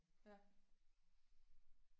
Ja